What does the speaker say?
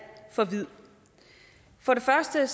for vid for det første